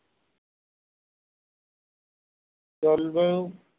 জলবায়ু